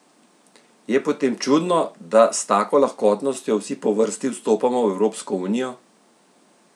Je potem čudno, da s tako lahkotnostjo vsi po vrsti vstopamo v Evropsko unijo?